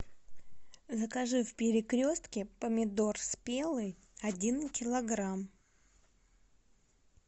закажи в перекрестке помидор спелый один килограмм